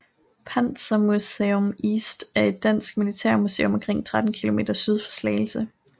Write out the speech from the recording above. Panzermuseum East er et dansk militærmuseum omkring 13 km syd for Slagelse